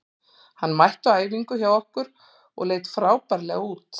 Hann mætti á æfingu hjá okkur og leit frábærlega út.